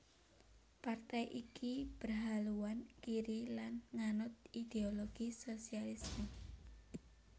Partai iki berhaluan kiri lan nganut ideologi sosialisme